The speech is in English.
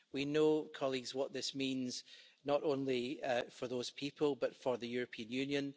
We know, colleagues, what this means, not only for those people, but for the European Union.